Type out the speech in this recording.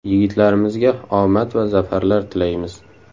Yigitlarimizga omad va zafarlar tilaymiz.